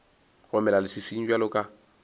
go mela leswiswing bjalo ka